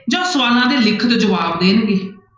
ਜਾਂ ਸਵਾਲਾਂ ਦੇ ਲਿਖਤ ਜਵਾਬ ਦੇਣਗੇ।